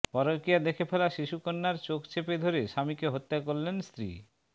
পরকীয়া দেখে ফেলা শিশুকন্যার চোখ চেপে ধরে স্বামীকে হত্যা করলেন স্ত্রী